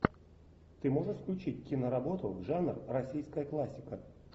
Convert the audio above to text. ты можешь включить киноработу жанр российская классика